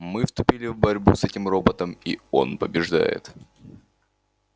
мы вступили в борьбу с этим роботом и он побеждает